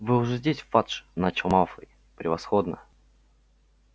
вы уже здесь фадж начал малфой превосходно